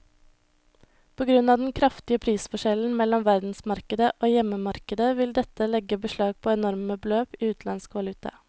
På grunn av den kraftige prisforskjellen mellom verdensmarkedet og hjemmemarkedet vil dette legge beslag på enorme beløp i utenlandsk valuta.